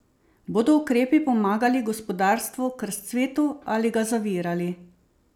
Bodo ukrepi pomagali gospodarstvu k razcvetu ali ga zavirali?